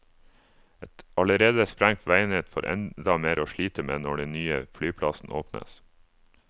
Et allerede sprengt veinett får enda mer å slite med når den nye flyplassen åpnes.